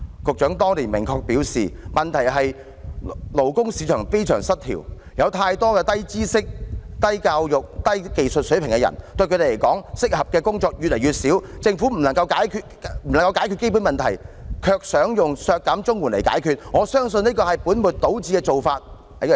局長當年明確表示，問題是勞工市場非常失調，有太多低知識、低教育、低技術水平的人，對他們來說，適合的工作越來越少，政府不能解決基本問題，卻想利用削減綜援來解決，他相信這是本末倒置的做法。